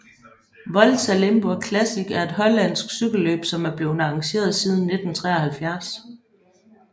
Volta Limburg Classic er et hollandsk cykelløb som er blevet arrangeret siden 1973